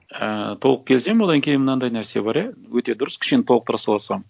і толық келісемін одан кейін мынандай нәрсе бар иә өте дұрыс кішкене толықтыра салсам